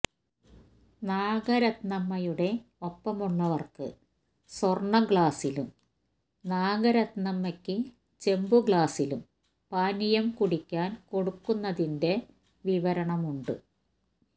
നാഗരത്നമ്മയുടെ ഒപ്പമുള്ളവർക്ക് സ്വർണ്ണഗ്ലാസ്സിലും നാഗരത്നമ്മയ്ക്ക് ചെമ്പുഗ്ലാസ്സിലും പാനീയം കുടിക്കാൻ കൊടുക്കുന്നതിന്റെ വിവരണമുണ്ട്